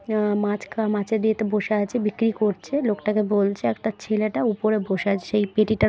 অ্যা মাছ কা মাছের ইয়েতে বসে আছে বিক্রি করছে। লোকটাকে বলছে একটা ছেলেটা উপরে বসে আছে সেই পেটিটা।